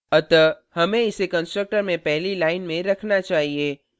अतः हमें इसे constructor में पहली line में रखना चाहिए